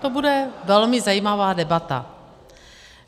To bude velmi zajímavá debata.